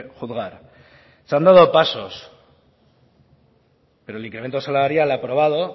juzgar se han dado pasos pero el incremento salarial aprobado